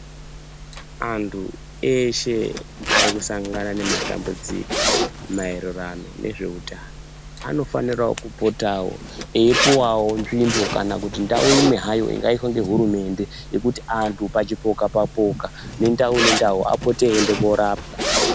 Anhu eshe arikusangana nematambudziko maererano nezveutano anofanira kupotao eipuwawo nzvimbo kana kuti ndau imwe zvayo ingaiswe ngehurumende yekuti anhu pachipoka chipoka apote eienda korapwa.